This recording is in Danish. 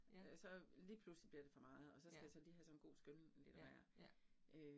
Ja. Ja. Ja ja